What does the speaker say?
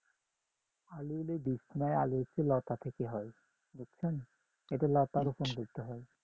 আলু হলো বীজ না আলু হচ্ছে লতা থেকে হয় বুঝছেন এটা লতা রোপন করতে হয়